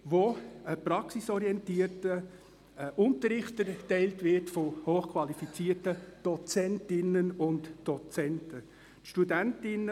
Dort findet ein praxisorientierter Unterricht von hochqualifizierten Dozentinnen und Dozenten statt.